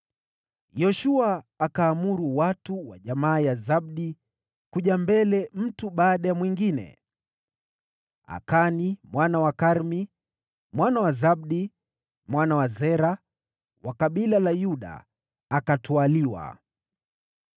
Yoshua akaamuru watu wa jamaa ya Zabdi kuja mbele mtu kwa mtu, naye Akani mwana wa Karmi, mwana wa Zabdi, mwana wa Zera, wa kabila la Yuda, akatwaliwa.